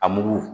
A mugu